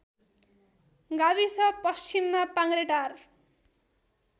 गाविस पश्चिममा पाङ्ग्रेटार